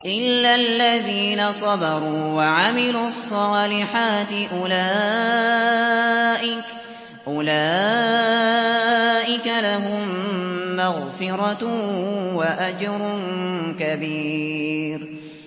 إِلَّا الَّذِينَ صَبَرُوا وَعَمِلُوا الصَّالِحَاتِ أُولَٰئِكَ لَهُم مَّغْفِرَةٌ وَأَجْرٌ كَبِيرٌ